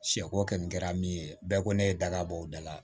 Sɛ ko kɛ min kɛra min ye bɛɛ ko ne ye daga bɔ o da la